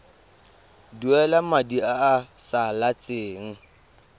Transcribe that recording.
duela madi a a salatseng